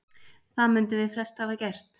Það mundum við flest hafa gert.